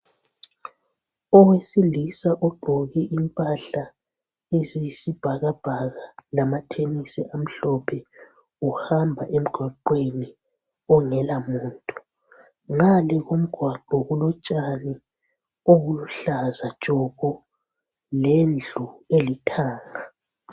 Owesilisa ugqoke impahla eziyisibhakabhaka lamathenisi amhlophe. Uhamba emgwaqweni ongelamuntu. Ngale komgwaqo kulotshani obuluhlaza tshoko lendlu elithanga.